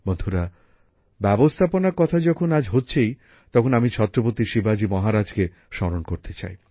বন্ধুরা ব্যবস্থাপনার কথা যখন আজ হচ্ছেই তখন আমি ছত্রপতি শিবাজী মহারাজকে স্মরণ করতে চাই